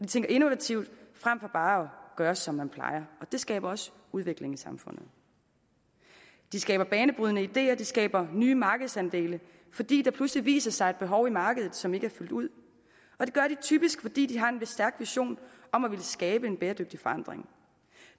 tænker innovativt frem for bare at gøre som man plejer og det skaber også udvikling i samfundet de skaber banebrydende ideer de skaber nye markedsandele fordi der pludselig viser sig et behov i markedet som ikke er fyldt ud og det gør de typisk fordi de har en stærk vision om at ville skabe en bæredygtig forandring